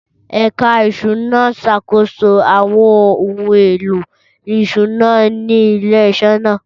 Ẹ̀ka Ìṣúná ń ṣàkóso àwọn ohun èlò ìṣúná ilé-iṣẹ́ náà.